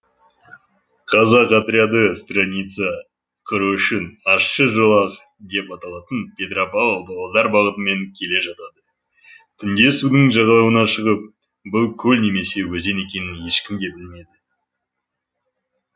казак отряды страница құру үшін ащы жолақ деп аталатын петропавл павлодар бағытымен келе жатады түнде судың жағалауына шығып бұл көл немесе өзен екенін ешкім де білмеді